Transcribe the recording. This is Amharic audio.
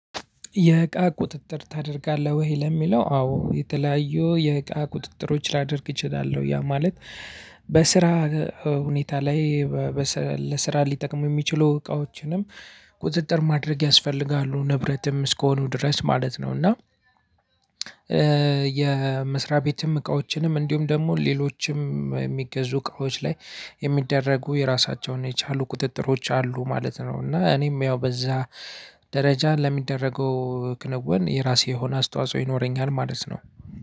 የእቃ ቁጥጥር ታደርጋለህ ወይ? ለሚለው አዎ የተለያዩ የእቃ ቁጥጥሮች ላደርግ እችላለሁ ያ ማለት በስራ ሁኔታ ላይ ለስራ ሊጠቅሙ የሚችሉ እቃዎችንም ቁጥጥር ማድረግ ያስፈልጋሉ ንብረትም እስከሆኑ ድረስ ማለት ነው። እና የመስሪያ ቤትም እቃዎችንም እንዲሁም ደግሞ ሌሎችም የሚገዙ እቃዎች ላይ የሚደረጉ የራሳቸውን የቻሉ ቁጥጥሮች አሉ ማለት ነው። እና እኔም ያው በዛ ደረጃ ለሚደረገው ክንውን የራሴ የሆነ አስተዋጽኦ ይኖረኛል ማለት ነው።